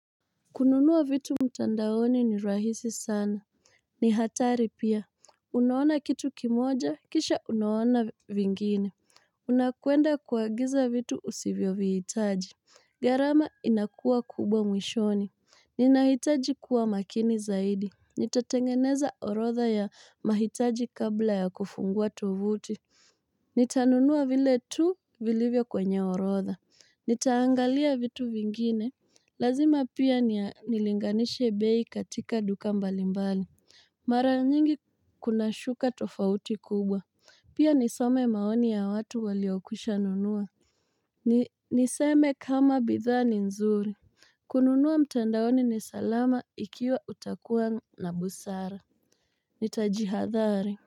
Kununua vitu mtandaoni ni rahisi sana ni hatari pia. Unaona kitu kimoja kisha unaona vingine Unakwenda kuagiza vitu usivyovihitaji gharama inakua kubwa mwishoni Ninahitaji kuwa makini zaidi Nitatengeneza orodha ya mahitaji kabla ya kufungua tovuti Nitanunua vile tu vilivyo kwenye orodha Nitaangalia vitu vingine. Lazima pia nilinganishe bei katika duka mbalimbali, mara nyingi kuna shuka tofauti kubwa, pia nisome maoni ya watu waliokwisha nunua ni niseme kama bidhaa ni nzuri kununua mtandaoni ni salama ikiwa utakuwa na busara. Nitajihadhari.